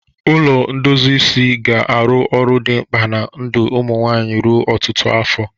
Ụlọ ndozi isi ga-arụ ọrụ dị mkpa na ndụ ụmụ nwanyị ruo ọtụtụ afọ.